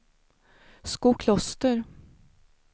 Skokloster